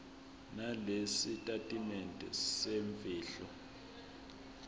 nalesi sitatimende semfihlo